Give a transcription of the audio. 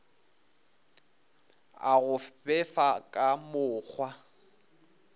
a go befa ka mokgwa